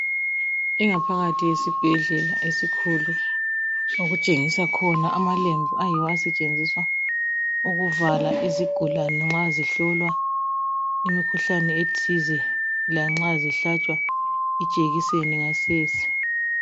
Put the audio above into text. ingaphakathi yesibhedlela esikhulu okutshengisa khona amalembu ayiwo asetshenziswa ukuvala izigulane nxa zihlolwa imikhuhlane ethize lanxa zihlatshwa ijekiseni ngasese